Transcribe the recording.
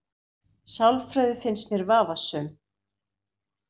Sálfræði finnst mér vafasöm